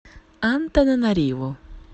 антананариву